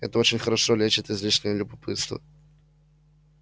это очень хорошо лечит излишнее любопытство